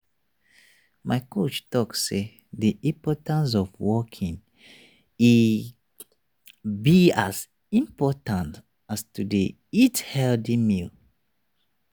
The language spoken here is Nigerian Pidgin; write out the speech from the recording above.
my coach talk say the importance of walking e be as important as to dey eat healthy meals.